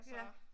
Ja